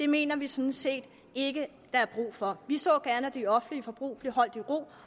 mener vi sådan set ikke der er brug for vi så gerne at det offentlige forbrug blev holdt i ro